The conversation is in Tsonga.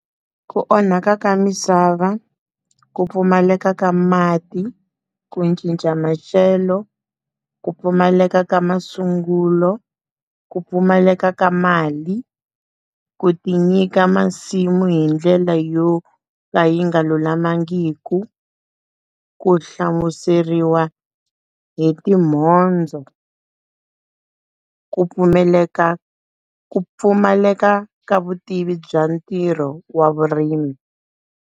Ku onhaka ka misava, ku pfumaleka, ka mati ku cinca maxelo, ku pfumaleka ka masungulo, ku pfumaleka ka mali, ku tinyika masimu hi ndlela yo ka yi nga lulamangiku, ku hlamuseriwa hi timhondzo, ku pfumeleka ku pfumaleka ka vutivi bya ntirho wa vurimi.